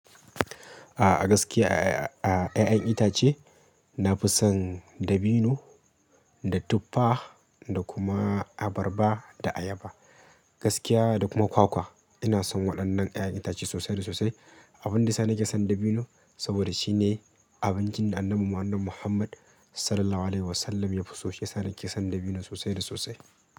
A gaskiya a ƴaƴan itace na fi son dabino da tuffa da kuma abarba da ayaba gaskiya da kuma kwakwa. Ina son waɗannan ƴaƴan itace sosai da sosai. Abin da ya sa nake son dabino saboda shine abincin da annabinmu, annabi Muhammad Sallallahu Alaihi Wasallam ya fi sosai. Shiyasa nake son dabino sosai da sosai.